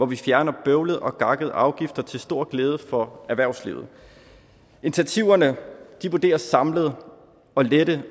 vi fjerner bøvlede og gakkede afgifter til stor glæde for erhvervslivet initiativerne vurderes samlet at lette